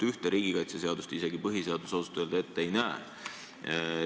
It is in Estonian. Ühte riigikaitseseadust põhiseadus ausalt öelda ette ei näe.